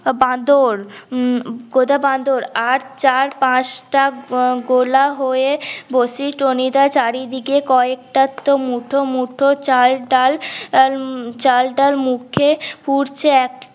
বাঁদর উম গোদা বাঁদর আর চার পাঁচটা উম গোলা হয়ে বসি টনি দা চারিদিকে কয়েকটার তো মুঠো মুঠো চাল ডাল উম চাল ডাল মুখে পুড়ছে